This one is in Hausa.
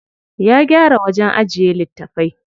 Ya gyara wajen ajiye littafai.